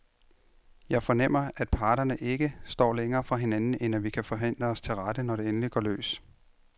Jeg fornemmer, at parterne ikke står længere fra hinanden, end at vi kan forhandle os til rette, når det endelig går løs.